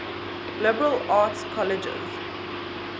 liberal arts colleges